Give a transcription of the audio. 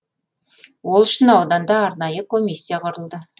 ол үшін ауданда арнайы комиссия құрылды